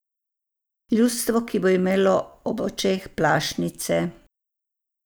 Ljudstvo, ki bo imelo ob očeh plašnice.